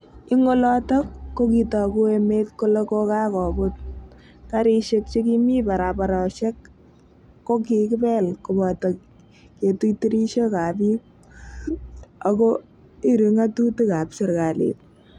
Ing olotok ko kitoku emet kele kokoput, karishek che kimi barabaroshek ko kikipel kopoto ketui tirishok ap pik ako irii ngatutik ap serikalit.